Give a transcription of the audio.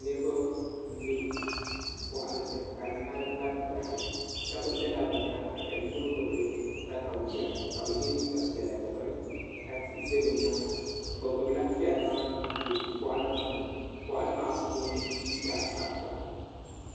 niriba m be boɣali ni ka di mali batibati shebi zala bɛ nyaaga ka yino gbibi takawiya ka bɛ ye liiga piɛla dibaayi ka tihi za bɛ nyaaga bɛ gbibila pɛrimaa be boɣali maa ni boɣali maa puuni dii ka sabta